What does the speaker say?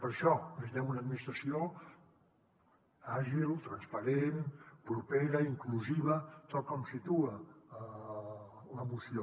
per això necessitem una administració àgil transparent propera inclusiva tal com situa la moció